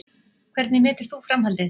Hvernig metur þú framhaldið?